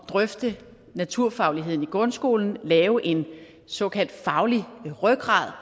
drøfte naturfagligheden i grundskolen lave en såkaldt faglig rygrad